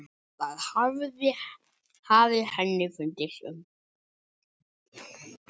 Það hafi henni fundist um